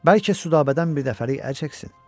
Bəlkə Südabədən birdəfəlik əl çəksin?